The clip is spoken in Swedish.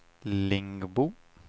Lingbo